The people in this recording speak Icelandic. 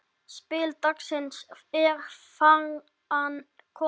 Spil dagsins er þaðan komið.